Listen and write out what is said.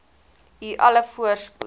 u alle voorspoed